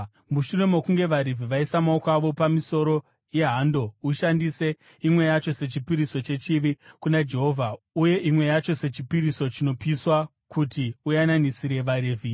“Mushure mokunge vaRevhi vaisa maoko avo pamisoro yehando, ushandise imwe yacho sechipiriso chechivi kuna Jehovha uye imwe yacho sechipiriso chinopiswa, kuti uyananisire vaRevhi.